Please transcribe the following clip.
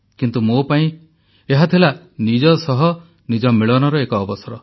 କିନ୍ତୁ ମୋ ପାଇଁ ଏହା ଥିଲା ନିଜ ସହ ନିଜର ମିଳନର ଏକ ଅବସର